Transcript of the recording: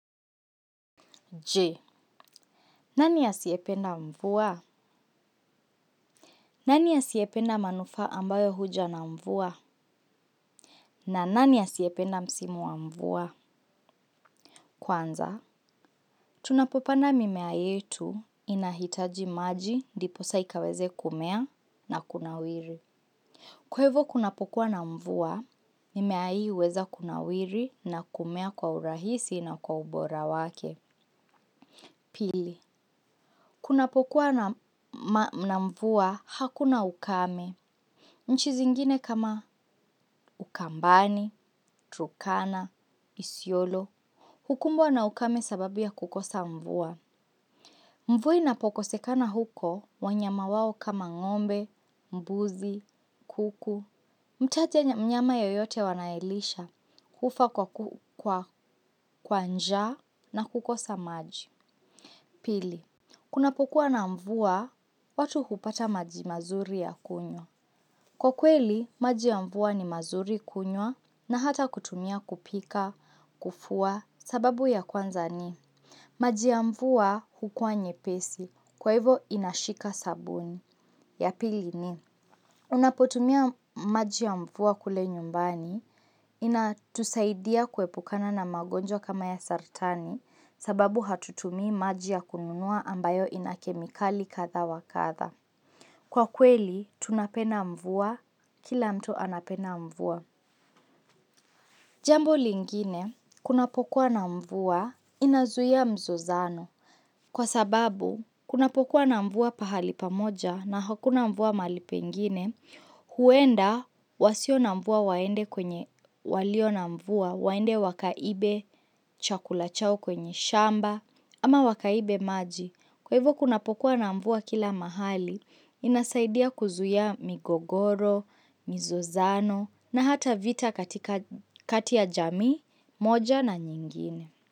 Je. Nani asiyependa mvua? Nani asiyependa manufaa ambayo huja na mvua? Na nani asiyependa msimu wa mvua? Kwanza, tunapopanda mimea yetu inahitaji maji ndiposa ikaweze kumea na kunawiri. Kwaivo kunapokuwa na mvua, mimea hii huweza kunawiri na kumea kwa urahisi na kwa ubora wake. Pili, kunapokuwa na mvua hakuna ukame. Nchi zingine kama ukambani, turkana, isiolo. Hukumbwa na ukame kwa sababu ya kukosa mvua. Mvua inapokosekana huko, wanyama wao kama ng'ombe, mbuzi, kuku. Mtaja mnyama yoyote wanayelisha hufa kwa kwa njaa na kukosa maji. Pili, kunapokuwa na mvua watu hupata maji mazuri ya kunywa. Kwa kweli, maji ya mvua ni mazuri kunywa na hata kutumia kupika, kufua, sababu ya kwanza ni. Maji ya mvua hukua nyepesi, kwa hivo inashika sabuni. Ya pili ni, unapotumia maji ya mvua kule nyumbani inatusaidia kuepukana na magonjwa kama ya saratani sababu hatutumii maji ya kununua ambayo ina kemikali kadha wa kadha. Kwa kweli, tunapenda mvua kila mtu anapenda mvua. Jambo lingine, kunapokuwa na mvua inazuia mzozano. Kwa sababu, kunapokuwa na mvua pahali pamoja na hakuna mvua mahali pengine, huenda wasio na mvua waende kwenye walio na mvua, waende wakaibe chakula chao kwenye shamba, ama wakaibe maji. Kwa hivyo kunapokuwa na mvua kila mahali, inasaidia kuzuia migogoro, mizozano na hata vita katika kati ya jamii moja na nyingine.